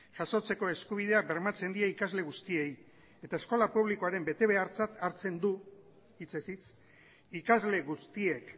jasotzeko eskubidea bermatzen die ikasle guztiei eta eskola publikoaren betebehartzat hartzen du hitzez hitz ikasle guztiek